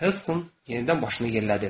Heston yenidən başını yellədi.